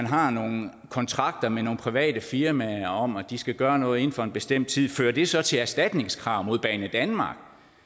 har nogle kontrakter med nogle private firmaer om at de skal gøre noget inden for en bestemt tid fører det så til erstatningskrav mod banedanmark